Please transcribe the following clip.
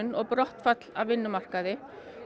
og brottfall af vinnumarkaði